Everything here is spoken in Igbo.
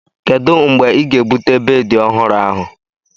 Kedu mgbe ị ga-ebute bedị ọhụrụ ahu?